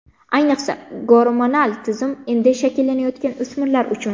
Ayniqsa gormonal tizim endi shakllanayotgan o‘smirlar uchun.